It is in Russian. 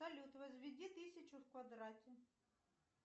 салют возведи тысячу в квадрате